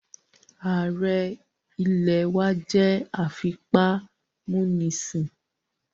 Ààrẹ ilẹ̀ wá jẹ́ afipámúnisìn